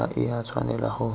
ga e a tshwanela go